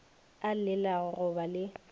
a llelago go ba le